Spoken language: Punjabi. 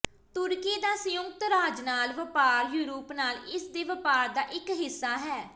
ਤੁਰਕੀ ਦਾ ਸੰਯੁਕਤ ਰਾਜ ਨਾਲ ਵਪਾਰ ਯੂਰਪ ਨਾਲ ਇਸ ਦੇ ਵਪਾਰ ਦਾ ਇੱਕ ਹਿੱਸਾ ਹੈ